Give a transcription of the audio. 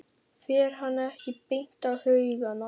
Fer hann ekki beint á haugana?